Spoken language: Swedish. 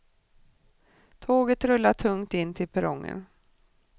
Tåget rullar tungt in till perrongen.